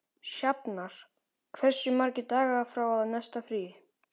Sjafnar, hversu margir dagar fram að næsta fríi?